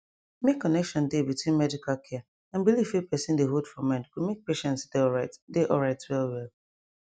make connection dey between medical care and belief wey person dey hold for mind go make patient dey alright dey alright well well